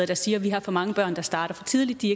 der siger vi har for mange børn der starter for tidligt de